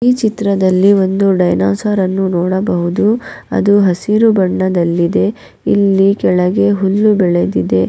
ಈ ಚಿತ್ರದಲ್ಲಿ ಒಂದು ಡೈನೋಸರನ್ನು ನೋಡಬಹುದು ಅದು ಹಸಿರು ಬಣ್ಣದಲ್ಲಿ ಇದೆ ಇಲ್ಲಿ ಕೆಳಗೆ ಹುಲ್ಲು ಬೆಳೆದಿದೆ.